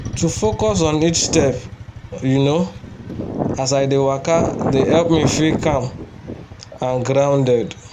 to focus on each step you know as i dey waka dey help me feel calm and grounded